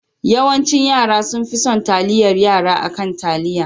Yawancin yara sonfi son taliyar Yara akan taliya.